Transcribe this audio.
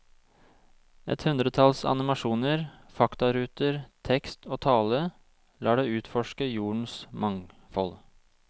Et hundretalls animasjoner, faktaruter, tekst og tale lar deg utforske jordens mangfold.